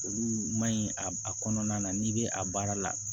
Olu ma ɲi a kɔnɔna na n'i bɛ a baara la